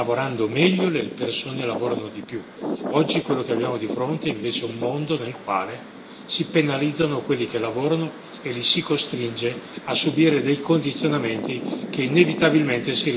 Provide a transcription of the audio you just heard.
Oggi, quello che abbiamo di fronte, invece, è un mondo nel quale si penalizzano quelli che lavorano e li si costringe a subire dei condizionamenti che inevitabilmente si riversano sulla quantità e qualità del loro lavoro.